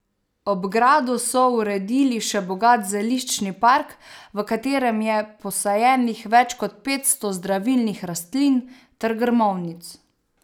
Ob gradu so uredili še bogat zeliščni park, v katerem je posajenih več kot petsto zdravilnih rastlin ter grmovnic.